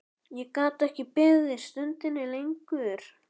Ég gat ekki beðið stundinni lengur.